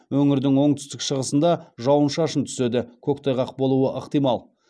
өңірдің оңтүстік шығысыңда жауын шашын түседі көктайғақ болуы ықтимал